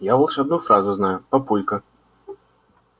я волшебную фразу знаю папулька